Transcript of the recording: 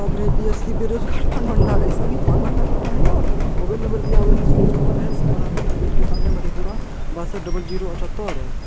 BSc बेरोजगार पान भंडार है ऐसा भी पान भण्डार होता है यार मोबाइल नंबर दिया हुआ है सूरज कुमार है समाहरणा गेट के सामने मधेपुरा बासठ डबल जीरो अठ्ठतर है।